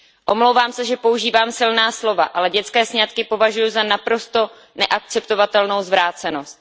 Omlouvám se, že používám silná slova, ale dětské sňatky považuji za naprosto neakceptovatelnou zvrácenost.